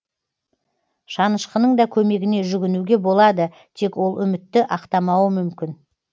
шанышқының да көмегіне жүгінуге болады тек ол үмітті ақтамауы мүмкін